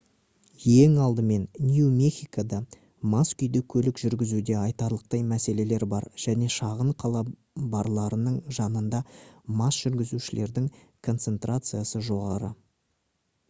ең алдымен нью мехикода мас күйде көлік жүргізуде айтарлықтай мәселелер бар және шағын қала барларының жанында мас жүргізушілердің концентрациясы жоғары